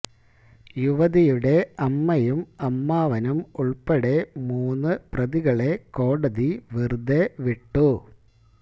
യുവതിയുടെ അമ്മയും അമ്മാവനും ഉൾപ്പെടെ മൂന്നു പ്രതികളെ കോടതി വെറുതെ വിട്ടു